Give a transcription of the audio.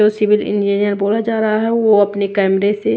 जो civil engineer बोला जा रहा है वो अपने कैमरे से--